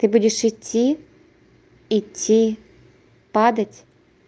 ты будешь идти идти падать